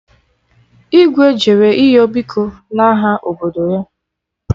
Igwe jere ịyọ biko n'aha obodo ya